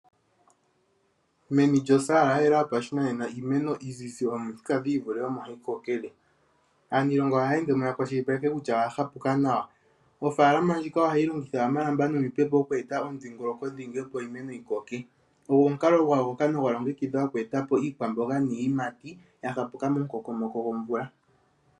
Meni lyosaala ya yela yopashinanena iimeno iizizi yomithika dhi ivule omo hayi kokele. Aaniilonga ohaye ende mo ya kwashilipaleke kutya oya hapuka nawa. Oofaalama ndjika ohayi longitha omalamba nomipepo oku eta omudhingoloko dhingi, opo iimeno yi koke. Ogo omukalo gwa yogoka nogwa longekidhwa oku eta po iikwamboga niiyimati momukokomoko gomvula.